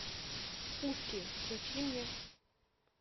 пушки включи мне